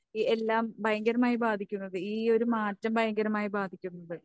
ഏഹ് എല്ലാം ഭയങ്കരമായി ബാധിക്കുന്നത്. ഈയൊരു മാറ്റം ഭയങ്കരമായി ബാധിക്കുന്നത്,